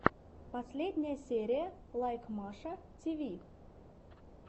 последняя серия лайк маша тв